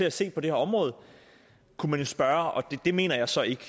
at se på det her område kunne man jo spørge og det mener jeg så ikke